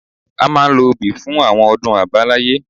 A máa ń lo obì fún àwọn ọdún àbáláyé